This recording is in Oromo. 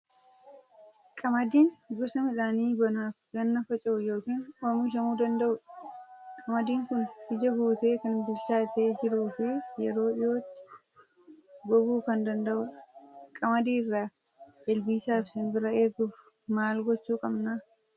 Qamadiin gosa midhaanii bonaa fi ganna faca'uu yookiin oomishamuu danda'udha. Qamadiin kun ija guutee kan bilchaatee jiruu fi yeroo dhiyootti goguu kan danda'udha. Qamadii irraa ilbiisaa fi simbira eeguuf maal gochuu qabna?